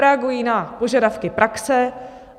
Reagují na požadavky praxe.